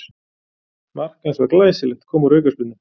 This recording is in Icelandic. Mark hans var glæsilegt, kom úr aukaspyrnu.